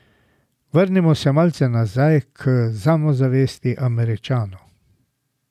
Vrnimo se malce nazaj k samozavesti Američanov.